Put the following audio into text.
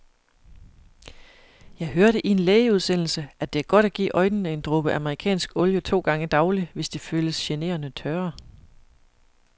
Jeg hørte i en lægeudsendelse, at det er godt at give øjnene en dråbe amerikansk olie to gange daglig, hvis de føles generende tørre.